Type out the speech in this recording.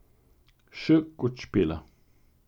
Š kot Špela.